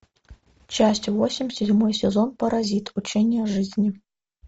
часть восемь седьмой сезон паразит учение о жизни